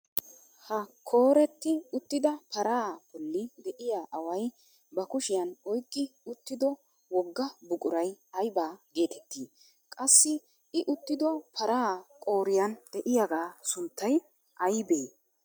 Ha kooretti uttida paraa bolli de'iyaa aaway ba kushiyaan oyqqi uttido wogaa buquray ayba getettii? Qassi i uttido paraa qooriyaan de'iyaagaa sunttay aybee?